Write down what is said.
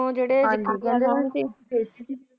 ਉਥੇ ਜਿਹੜੇ